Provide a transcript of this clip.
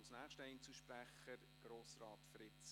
Sie müssen keine Angst haben: